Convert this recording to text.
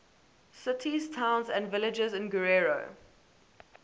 cities towns and villages in guerrero